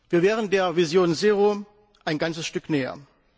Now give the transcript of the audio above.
Wir wären der Vision Zero ein ganzes Stück näher.